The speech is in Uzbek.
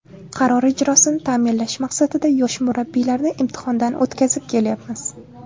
Qaror ijrosini ta’minlash maqsadida yosh murabbiylarni imtihondan o‘tkazib kelyapmiz.